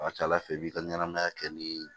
A ka ca ala fɛ i b'i ka ɲɛnamaya kɛ ni